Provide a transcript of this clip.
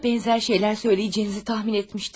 Buna bənzər şeylər söyləyəcəyinizi təxmin etmişdim.